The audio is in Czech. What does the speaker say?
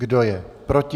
Kdo je proti?